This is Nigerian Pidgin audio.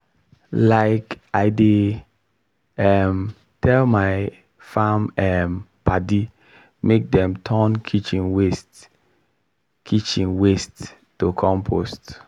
like i dey um tell my farm um padi make dem turn kitchen waste kitchen waste to compost